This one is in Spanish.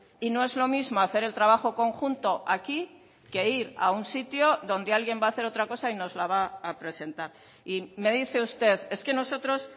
y no es lo mismo hacer el trabajo conjunto aquí que ir a un sitio donde alguien va a hacer otra cosa y nos la va a presentar y me dice usted es que nosotros